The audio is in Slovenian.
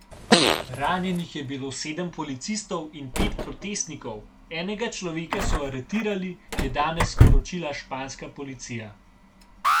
Ranjenih je bilo sedem policistov in pet protestnikov, enega človeka so aretirali, je danes sporočila španska policija.